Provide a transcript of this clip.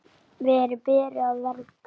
Verin beri að vernda.